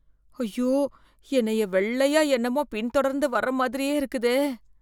ஐயோ, என்னைய வெள்ளையா என்னமோ பின் தொடர்ந்து வர மாதிரியே இருக்குதே.